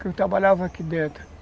que eu trabalhava aqui dentro.